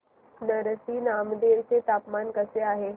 नरसी नामदेव चे तापमान कसे आहे